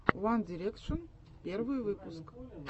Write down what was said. ван дирекшен первый выпуск